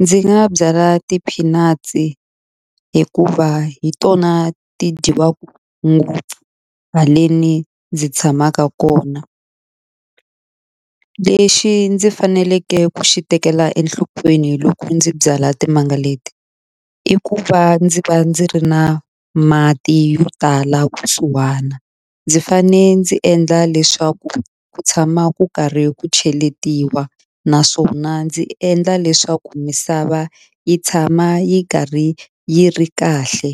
ndzi nga byala ti-peanuts hikuva hi tona ti dyiwaku ngopfu haleni ndzi tshamaka kona lexi ndzi faneleke ku xi tekela enhlokweni loko ndzi byala timanga leti i ku va ndzi va ndzi ri na mati yo tala kusuhana ndzi fane ndzi endla leswaku ku tshama ku karhi ku cheletiwa naswona ndzi endla leswaku misava yi tshama yi karhi yi ri kahle.